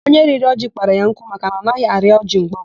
Onye rịrị ọjị kpara ya nkụ maka na anaghị arị ọjị mgbe ọbụla.